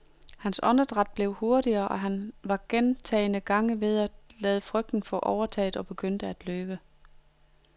Hans åndedræt blev hurtigere og han var gentagne gange ved at lade frygten få overtaget og begynde at løbe.